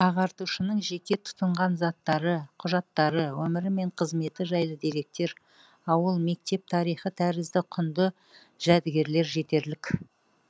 ағартушының жеке тұтынған заттары құжаттары өмірі мен қызметі жайлы деректер ауыл мектеп тарихы тәрізді құнды жәдігерлер жетерлік